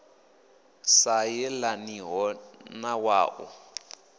sa yelaniho na wa u